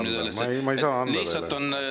Mis on teie suhtumine sellesse?